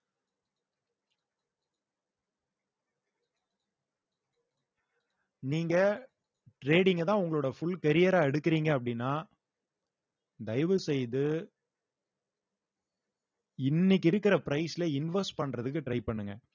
நீங்க trading அ தான் உங்களோட full carrier ஆ எடுக்குறீங்க அப்படின்னா தயவு செய்து இன்னைக்கு இருக்கிற price ல invest பண்றதுக்கு try பண்ணுங்க